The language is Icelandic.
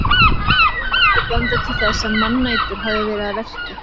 Önnur ummerki benda til þess að mannætur hafi verið að verki.